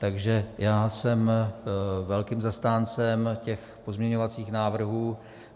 Takže já jsem velkým zastáncem těch pozměňovacích návrhů.